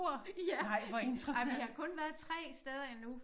Ja ej vi har kun været 3 steder endnu